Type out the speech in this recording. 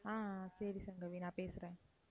ஆஹ் ஆஹ் சரி சங்கவி நான் பேசுறேன்.